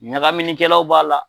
Ɲagaminikɛlaw b'a la.